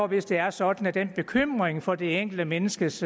hvis det er sådan at den bekymring for det enkelte menneskes